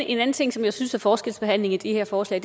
en anden ting som jeg synes er forskelsbehandling i det her forslag